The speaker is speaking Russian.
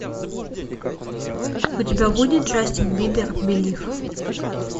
у тебя будет джастин бибер белив